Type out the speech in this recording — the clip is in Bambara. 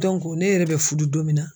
ne yɛrɛ bɛ fudu don min na.